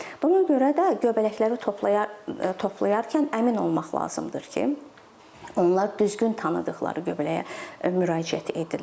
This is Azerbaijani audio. Buna görə də göbələkləri toplayarkən əmin olmaq lazımdır ki, onlar düzgün tanıdıqları göbələyə müraciət edirlər.